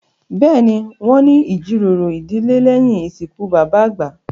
Bẹ́ẹ̀ni, wọn ní ìjíròrò ìdílé lèyín ìsìnkú bàbà àgbà